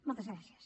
moltes gràcies